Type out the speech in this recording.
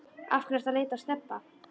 Af hverju ertu að leita að Stebba